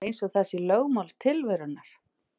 Það er eins og það sé lögmál tilverunnar.